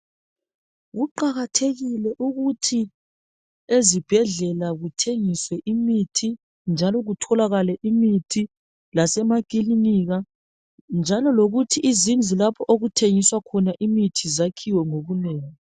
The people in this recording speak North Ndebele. Kuqakathekile ukuthi ezibhedlela kuthengiswe imithi njalo kutholakale imithi lasemakilinika njalo lokuthi izindlu lapho okuthengiswa khona imithi zakhiwe ngobunengi.